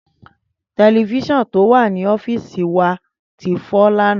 Tẹlifíṣọ̀n tó wà ní ọ́fíìsì wa ti fọ́ lánàá.